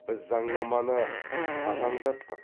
біз заңнаманы қатаңдаттық